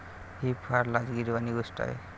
ही फार लाजिरवाणी गोष्ट आहे.